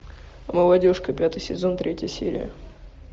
молодежка пятый сезон третья серия